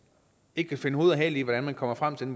ikke kan finde hoved og hale i hvordan man kommer frem til